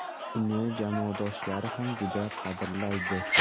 Uni jamoadoshlari ham juda qadrlaydi.